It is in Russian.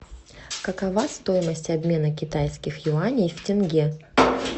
какова стоимость обмена китайских юаней в тенге